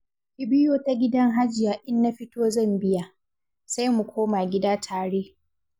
Ki biyo ta gidan Hajiya in na fito zan biya, sai mu koma gida tare.